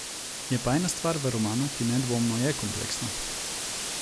Je pa ena stvar v romanu, ki nedvomno je kompleksna.